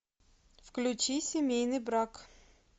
включи семейный брак